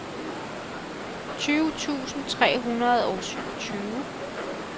tyve tusind tre hundrede og syvogtyve